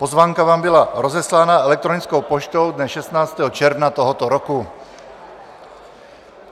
Pozvánka vám byla rozeslána elektronickou poštou dne 16. června tohoto roku.